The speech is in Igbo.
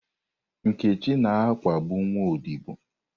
Nkechi na-akpagbu nwa odibo